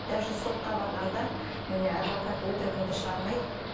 даже сотқа барғанда міне адвокат өтірігімді шығармайды